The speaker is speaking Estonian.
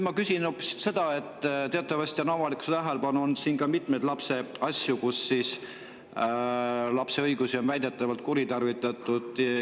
Ma küsin hoopis selle kohta, et teatavasti on avalikkuse tähelepanu all olnud mitmeid, kus lapse õigusi on väidetavalt kuritarvitatud.